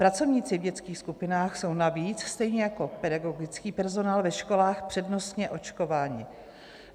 Pracovníci v dětských skupinách jsou navíc, stejně jako pedagogický personál ve školách, přednostně očkováni.